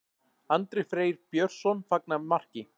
Andri Freyr Björnsson fagnar marki.